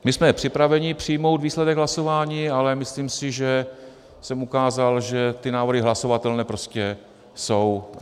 My jsme připraveni přijmout výsledek hlasování, ale myslím si, že jsem ukázal, že ty návrhy hlasovatelné prostě jsou.